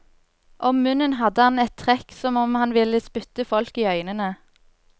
Om munnen hadde han et trekk som om han ville spytte folk i øynene.